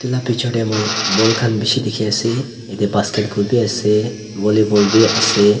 edu la picture tae moi ball khan bishi dikhiase yatae basketball bi ase vollyball bi ase.